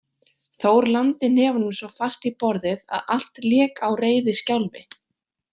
Þór lamdi hnefanum svo fast í borðið að allt lék á reiðiskjálfi.